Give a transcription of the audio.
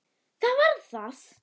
Það var það!